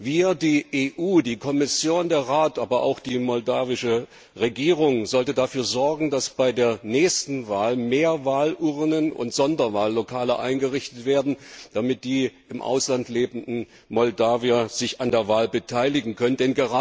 Wir, das EP, die Kommission, der Rat, aber auch die moldawische Regierung, sollten dafür sorgen, dass bei der nächsten Wahl mehr Wahlurnen und Sonderwahllokale eingerichtet werden, damit die im Ausland lebenden Moldawier sich an der Wahl beteiligen können.